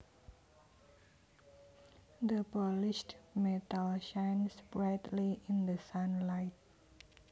The polished metal shines brightly in the sunlight